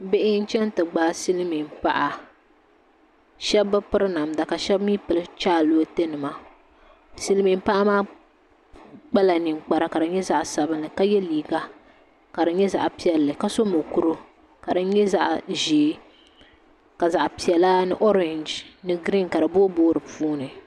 Bihi n chɛŋ ti gbaai silmiin paɣa shab bi piri namda ka shab mii piri chɛlɛ watɛ nima silmiin paɣa maa kpala ninkpara ka di nyɛ zaɣ sabinli ka yɛ liiga ka di nyɛ zaɣ piɛlli ka so mokuru ka di nyɛ zaɣ ʒiɛ ka zaɣ piɛla ni oorɛnji ni giriin ka di booi booi di puuni